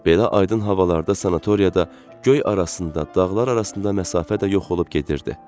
Belə aydın havalarda sanatoriyada göy arasında, dağlar arasında məsafə də yox olub gedirdi.